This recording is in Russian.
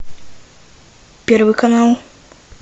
первый канал